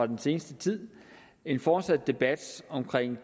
den seneste tid en fortsat debat om